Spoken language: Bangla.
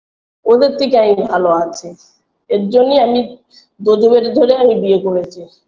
ওদের থেকে আমি ভালো আছি এজন্যই আমি বেধে ধরে আমি বিয়ে করেছি